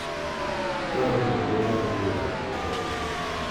Ka onge luoro mar bura kata kum,